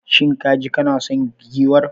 Shin kaji kana son giwar?